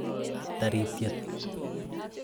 Taritiet